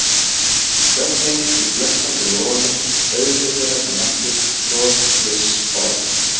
Þögnin í flöktandi logunum, augu þeirra sem mættust, bros, fliss, orð.